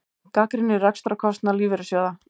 Gagnrýnir rekstrarkostnað lífeyrissjóða